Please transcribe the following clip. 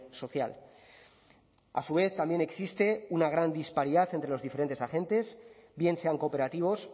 social a su vez también existe una gran disparidad entre los diferentes agentes bien sean cooperativos